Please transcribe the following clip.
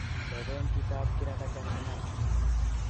Teben chitab kirakacha sinai